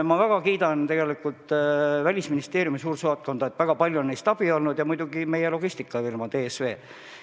Ma väga kiidan Hiina suursaatkonda, neist on väga palju abi olnud, ja muidugi meie logistikafirmast DSV.